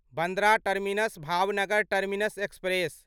Bandra terminus Bhavnagar terminus express